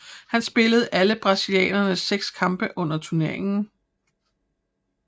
Han spillede alle brasilianernes seks kampe under turneringen